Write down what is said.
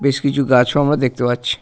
বেশ কিছু গাছ ও আমরা দেখতে পাচ্ছি।